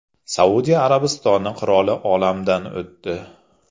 Saudiya Arabistoni qiroli olamdan o‘tdi.